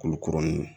Kurukurunin ninnu